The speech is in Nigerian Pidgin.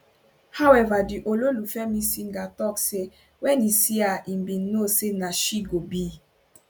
howeva di ololufemi singer tok say wen e see her e bin know say na she go be